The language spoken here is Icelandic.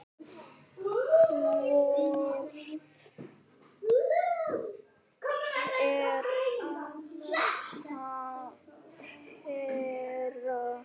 Hvort er verra?